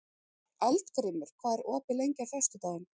Eldgrímur, hvað er opið lengi á föstudaginn?